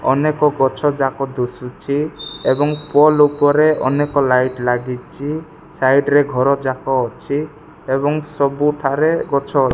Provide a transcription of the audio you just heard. ଅନେକ ଗଛ ଯାକ ଦୁସୁଛି ଏବଂ ପୋଲ ଉପରେ ଅନେକ ଲାଇଟ୍ ଲାଗିଚି ସାଇଟ୍ ରେ ଘର ଯାକ ଅଛି ଏବଂ ସବୁ ଠାରେ ଗଛ --